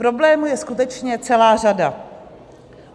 Problémů je skutečně celá řada.